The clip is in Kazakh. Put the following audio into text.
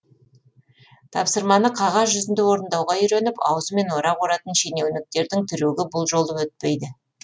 тапсырманы қағаз жүзінде орындауға үйреніп аузымен орақ оратын шенеуніктердің трюгі бұл жолы өтпейді